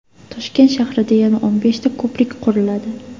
Toshkent shahrida yana o‘n beshta ko‘prik quriladi.